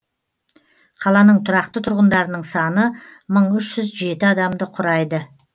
қаланың тұрақты тұрғындарының саны мың үш жүз жеті адамды құрайды